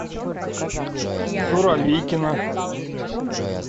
суровикино